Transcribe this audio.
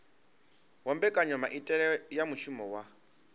wa mbekanyamaitele ya muvhuso wa